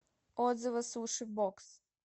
отзывы суши бокс